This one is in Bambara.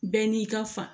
Bɛɛ n'i ka fa